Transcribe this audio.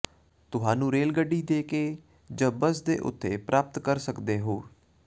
ਤੁਹਾਨੂੰ ਰੇਲ ਗੱਡੀ ਦੇ ਕੇ ਜ ਬੱਸ ਕੇ ਉੱਥੇ ਪ੍ਰਾਪਤ ਕਰ ਸਕਦੇ ਹੋ